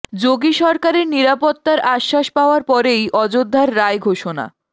যোগী সরকারের নিরাপত্তার আশ্বাস পাওয়ার পরেই অযোধ্যার রায় ঘোষণা